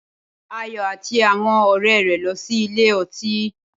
Ayọ̀ àti àwọn òré rẹ lọ ṣí ilé ọtí